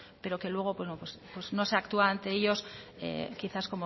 pero que luego no se actúa ante ellos quizás